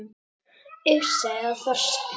Ufsa eða þorska?